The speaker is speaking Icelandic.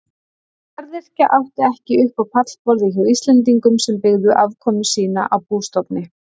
Garðyrkja átti ekki upp á pallborðið hjá Íslendingum sem byggðu afkomu sína á bústofni.